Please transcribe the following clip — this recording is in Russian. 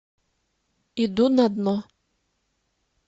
иду на дно